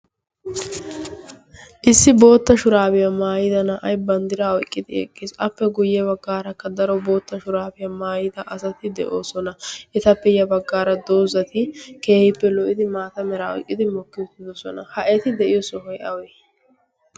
issi bootta shuraabiyaa maayida na'ay banddira oyqqidi eqqies appe guyye baggaarakka daro bootta shuraafiyaa maayida asati de'oosona. eta peyya baggaara doozati keehippe lo"idi maata meraa oiqqidi mokki uttidosona ha eti de'iyo sohoy awee?